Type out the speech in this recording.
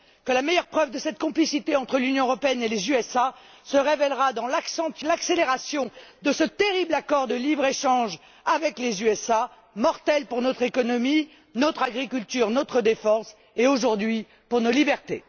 que la meilleure preuve de cette complicité entre l'Union européenne et les États Unis se révélera dans l'accélération de ce terrible accord de libre échange avec les États Unis, mortel pour notre économie, notre agriculture, notre défense et, aujourd'hui, pour nos libertés.